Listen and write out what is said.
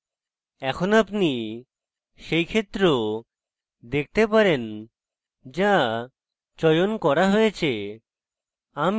এখন আপনি সেই ক্ষেত্র দেখতে পারেন যা চয়ন করা হয়েছে